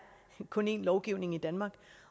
kun er en lovgivning i danmark